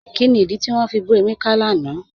Kíni ìdí tí wọn fi bù Emeka lánà?